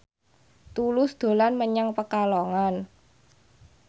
Tulus dolan menyang Pekalongan